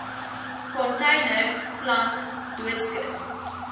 container plant doodskis